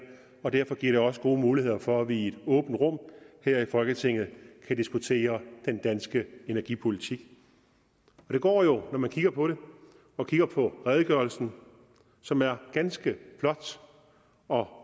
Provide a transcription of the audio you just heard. og derfor giver det også gode muligheder for at vi i et åbent rum her i folketinget kan diskutere den danske energipolitik det går jo når man kigger på det og kigger på redegørelsen som er ganske flot og